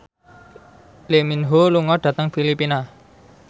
Lee Min Ho lunga dhateng Filipina